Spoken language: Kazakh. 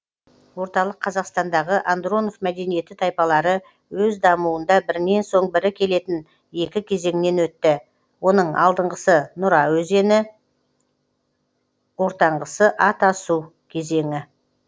орталык қазақстандағы андронов мәдениеті тайпалары өз дамуында бірінен соң бірі келетін екі кезеңнен өтті оның алдыңғысы нүра кезеңі ортаңғысы атасу кезеңі